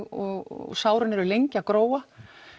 og sárin eru lengi að gróa